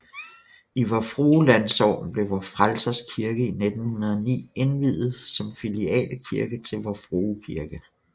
I Vor Frue Landsogn blev Vor Frelsers Kirke i 1909 indviet som filialkirke til Vor Frue Kirke